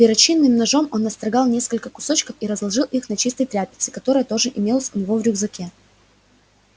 перочинным ножом он настрогал несколько кусочков и разложил их на чистой тряпице которая тоже имелась у него в рюкзаке